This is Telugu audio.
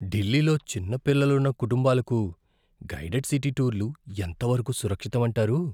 ఢిల్లీలో చిన్న పిల్లలున్న కుటుంబాలకు గైడెడ్ సిటీ టూర్లు ఎంత వరకు సురక్షితం అంటారు?